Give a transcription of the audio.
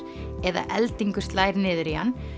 eða eldingu slær niður í hann